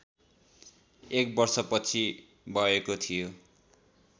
एक वर्ष पछि बएको थियो